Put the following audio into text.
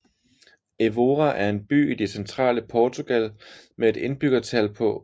Évora er en by i det centrale Portugal med et indbyggertal på